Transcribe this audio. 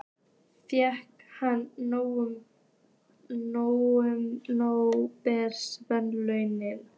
Fékk hann nóbelsverðlaunin?